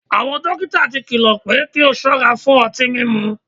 Awọn dokita ti kilọ pe ki a sọra fun ọti mimu